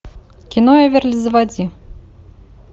кино эверли заводи